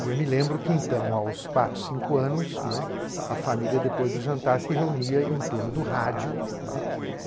E eu me lembro que, então, aos quatro, cinco anos, né, a família, depois do jantar, se reunia em torno do rádio, né.